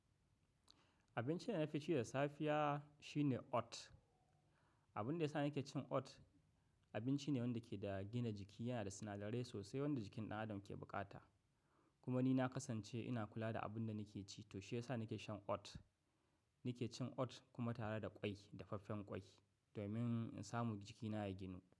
Abincin da na fi ci da safiya shine oat. Abunda yasa nake cin oat, abinci ne wanda ke da gina jiki, yanada sinadarai wanda jikin dan adam ke bukata kuma ni na kasance in kula da abunda nake ci, shiyasa nake shan oat-- nake cin oat kuma tare da kwai, dafaffen kwai domin in samu jikina ya ginu.